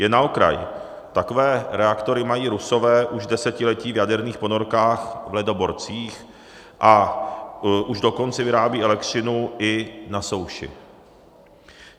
Jen na okraj, takové reaktory mají Rusové už desetiletí v jaderných ponorkách, v ledoborcích, a už dokonce vyrábějí elektřinu i na souši.